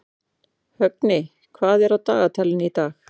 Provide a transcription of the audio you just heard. Högni, hvað er á dagatalinu í dag?